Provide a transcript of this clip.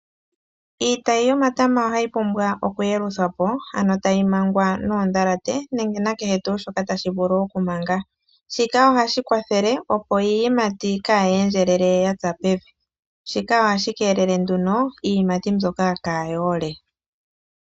Iitayi yomatama ohayi pumbwa oku yeluthwa po, ano tayi mangwa noondhalate nenge nakehe tuu shoka tashi vulu okumanga. Shika ohashi kwathele opo iiyimati kaayi endjelele ya tsa pevi, shika ohashi keelele nduno, iiyimati mbyoka kaayi ole.